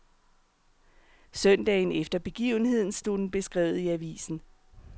Søndagen efter begivenheden stod den beskrevet i avisen.